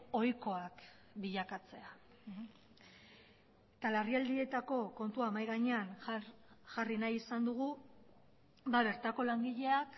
ohikoak bilakatzea eta larrialdietako kontua mahai gainean jarri nahi izan dugu bertako langileak